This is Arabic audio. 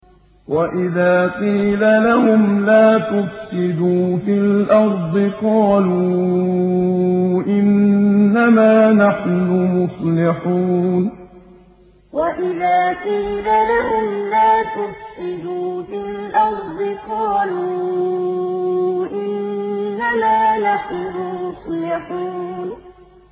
وَإِذَا قِيلَ لَهُمْ لَا تُفْسِدُوا فِي الْأَرْضِ قَالُوا إِنَّمَا نَحْنُ مُصْلِحُونَ وَإِذَا قِيلَ لَهُمْ لَا تُفْسِدُوا فِي الْأَرْضِ قَالُوا إِنَّمَا نَحْنُ مُصْلِحُونَ